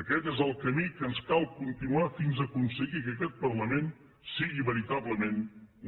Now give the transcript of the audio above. aquest és el camí que ens cal continuar fins aconseguir que aquest parlament sigui veritablement